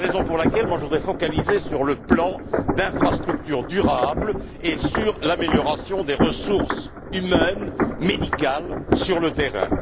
C'est la raison pour laquelle je voudrais me focaliser sur le plan d'infrastructures durables et sur l'amélioration des ressources humaines et médicales sur le terrain.